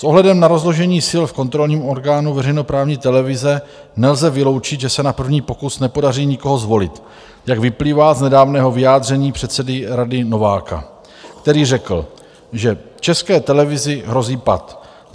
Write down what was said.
S ohledem na rozložení sil v kontrolním orgánu veřejnoprávní televize nelze vyloučit, že se na první pokus nepodaří nikoho zvolit, jak vyplývá z nedávného vyjádření předsedy Rady Nováka, který řekl, že České televizi hrozí pat.